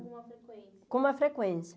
Com uma frequência.